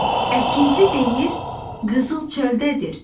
Əkinçi deyir qızıl çöldədir.